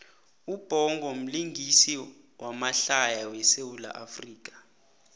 ubhongo mlingisi wamahlaya we sawula afrika